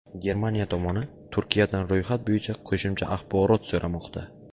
Germaniya tomoni Turkiyadan ro‘yxat bo‘yicha qo‘shimcha axborot so‘ramoqda.